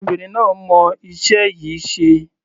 Obìnrin náà mọ iṣẹ́ yìí ṣe.